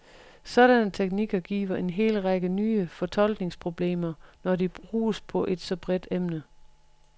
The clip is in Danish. Sådanne teknikker giver en hel række nye fortolkningsproblemer, når de bruges på et så bredt emne.